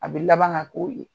A bi laban gan k'o ye.